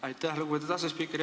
Aitäh, lugupeetud asespiiker!